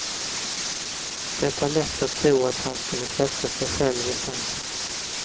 Det är lätt att tro att han skulle sätta sig själv i centrum.